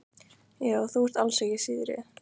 Já, þú ert alls ekki síðri.